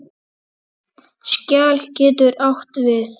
Skjal getur átt við